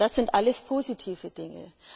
Das sind alles positive Dinge.